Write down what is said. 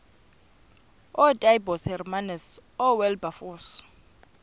ootaaibos hermanus oowilberforce